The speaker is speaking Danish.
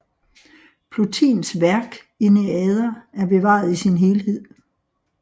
Plotins værk Enneader er bevaret i sin helhed